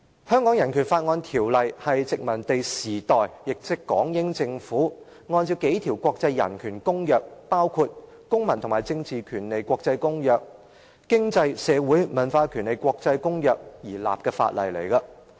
《香港人權法案條例》是殖民地時代，港英政府按照數項國際人權公約，包括《公民權利和政治權利國際公約》和《經濟、社會與文化權利的國際公約》而訂立的法例。